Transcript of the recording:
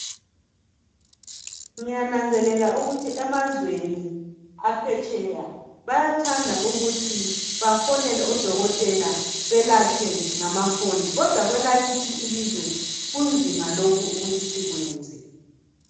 Ngiyananzelela ukuthi emazweni aphetsheya bayathanda ukuthi bafonele odokotela belatshwe ngamafoni. Kodwa kwelakithi ilizwe kunzima lokhu ukuthi sikwenze.